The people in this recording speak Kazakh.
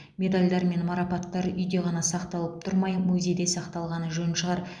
медальдар мен марапаттар үйде ғана сақталып тұрмай музейде сақталғаны жөн шығар